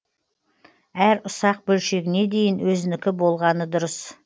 әр ұсақ бөлшегіне дейін өзінікі болғаны дұрыс